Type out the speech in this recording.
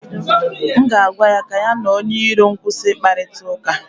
m ga-agwa ya ka ya na onye iro m kwụsị ịkparịta ụka